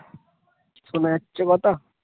শোনা যাচ্ছে কথা